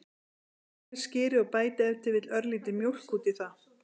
Hrærið skyrið og bætið ef til vill örlítilli mjólk út í það.